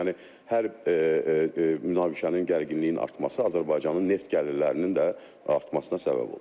Yəni hər münaqişənin gərginliyinin artması Azərbaycanın neft gəlirlərinin də artmasına səbəb olur.